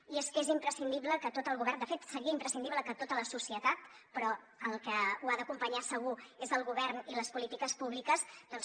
i és que és imprescindible que tot el govern de fet seria imprescindible que tota la societat però el que ho ha d’acompanyar segur és el govern i les polítiques públiques doncs